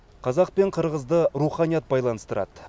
қазақ пен қырғызды руханият байланыстырады